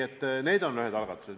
Need on näiteks ühed algatused.